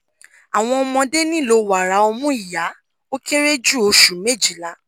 awọn ọmọde nilo wara omu iya o kere ju oṣu mejila